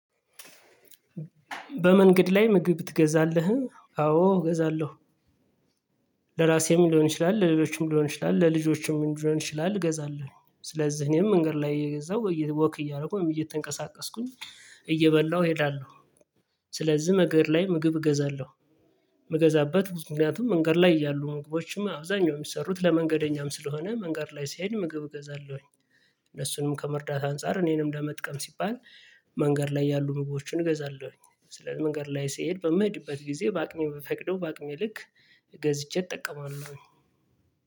በመንገድ ላይ ምግብ ትገዛለህ? አዎ እገዛለሁ ለራሴም ሊሆን ይችላል ለሌሎችም ሊሆን ይችላል ለልጆችም ሊሆን ይችላል እገዛለሁ ስለዚህ እኔም መንገድ ላይ እየገዛሁ ወክ እያደረኩ እያደረኩኝ እየተንቀሳቀስኩኝ እየበላሁ እሄዳለሁ ስለዚህ መገድ ላይ ምግብ እገዛለሁ ምገዛበት ብዙ ምክንያቱም መንገድ ላይ ያሉ ምግቦችም አብዛኛው ሚሰሩት ለመንገደኛም ስለሆነ መንገድ ላይ ስሄድ ምግብ እገዛለሁኝ እነሱንም ከመርዳት አንፃር እኔንም ለመጥቀም ሲባል መንገድ ላይ ያሉ ምግቦችን እገዛለሁኝ ስለዚህ መንገድ ላይ ስሄድ በምሄድበት ጊዜ በአቅሜ በፈቀደው በአቅሜ ልክ ገዝቼ እጠቀማለሁኝ